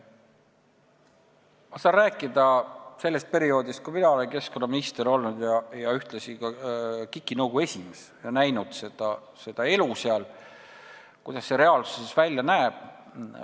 Ma saan rääkida sellest perioodist, kui mina olen keskkonnaminister ja ühtlasi ka KIK-i nõukogu esimees olnud ning näinud, kuidas seal see elu reaalsuses välja näeb.